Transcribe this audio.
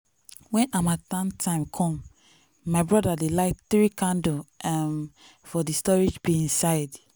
when harmattan time come my broda dey light 3 candle um for the storage bin side